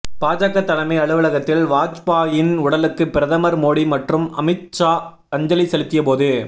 பாஜக தலைமை அலுவலகத்தில் வாஜ்பாயின் உடலுக்கு பிரதமர் மோடி மற்றும் அமித் ஷா அஞ்சலி செலுத்திய போது